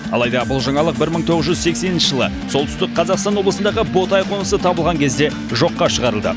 алайда бұл жаңалық бір мың тоғыз жүз сексенінші жылы солтүстік қазақстан облысындағы ботай қонысы табылған кезде жоққа шығарылды